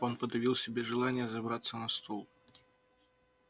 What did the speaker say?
он подавил в себе желание забраться на стул